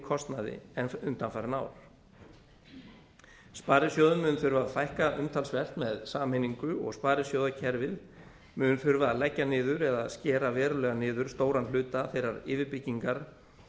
kostnaði en undanfarin ár sparisjóðum mun þurfa að fækka umtalsvert með sameiningu og sparisjóðakerfið mun þurfa að leggja niður eða skera verulega niður stóran hluta þeirrar yfirbyggingar